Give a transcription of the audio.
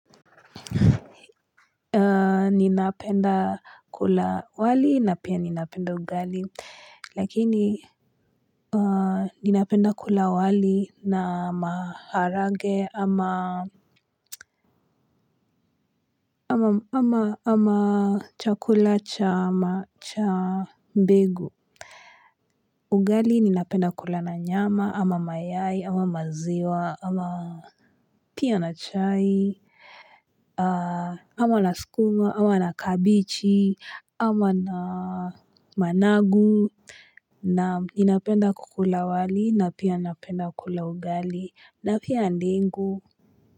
Ninapenda kula wali na pia ninapenda ugali, lakini ninapenda kula wali na maharagwe ama ama chakula cha mbegu. Ugali ninapenda kula na nyama, ama mayai, ama maziwa, ama pia na chai, ama na sukuma, ama na kabichi, ama na managu. Naam, ninapenda kukula wali, na pia napenda kula ugali, na pia ndengu.